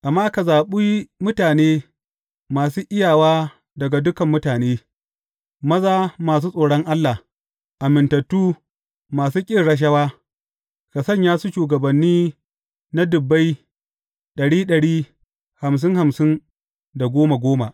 Amma ka zaɓi mutane masu iyawa daga dukan mutane, maza masu tsoron Allah, amintattu, masu ƙin rashawa, ka sanya su shugabanni na dubbai, ɗari ɗari, hamsin hamsin da goma goma.